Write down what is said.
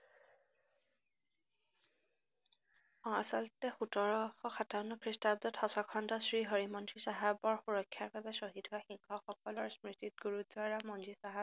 আহ আচলতে সোতৰশ সাতাৱন্ন খ্ৰীষ্টাব্দত সচখণ্ডৰ শ্ৰীহৰিমন্দিৰ চাহাবৰ সুৰক্ষাৰবাবে শ্বহীদ হয় সিংহসকলৰ স্মৃষ্টিত গুৰুদ্বাৰা মন্দিৰ চাহাব